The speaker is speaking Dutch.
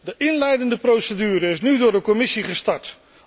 De inleidende procedure is nu door de Commissie gestart.